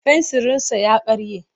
Fensirinsa ya karye.